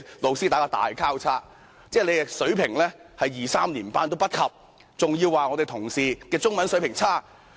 何議員的中文水平連小學二三年級都不如，還要說同事的中文水平差劣。